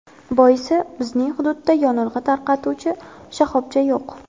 Boisi, bizning hududda yonilg‘i tarqatuvchi shoxobcha yo‘q.